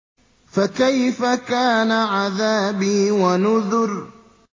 فَكَيْفَ كَانَ عَذَابِي وَنُذُرِ